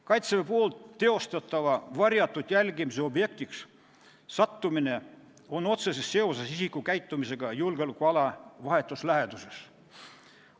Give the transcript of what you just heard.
Kaitseväe varjatud jälgimise objektiks sattumine on otseses seoses isiku käitumisega julgeolekuala vahetus läheduses.